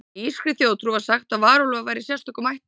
Í írskri þjóðtrú var sagt að varúlfar væru í sérstökum ættum.